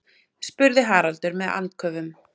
spurði Haraldur með andköfum.